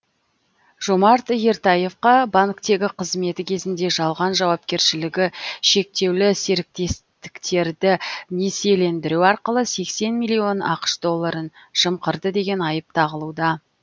жомарт ертаевқа банктегі қызметі кезінде жалған жауапкершілігі шектеулі серіктестіктерді несиелендіру арқылы сексен миллион ақш долларын жымқырды деген айып тағылуда